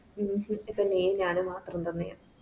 ഹും ഇപ്പൊ നീയും ഞാനും മാത്രം തന്നെയാ